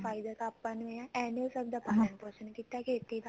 ਫਾਇਦਾ ਤਾਂ ਆਪਾਂ ਨੂੰ ਆ ਏਵੇਂ ਨੀ ਹੋ ਸਕਦਾ ਪਾਲਣ ਪੋਸ਼ਣ ਕੀਤਾ ਖੇਤੀ ਦਾ